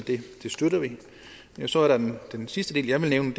det så er der den den sidste del jeg vil nævne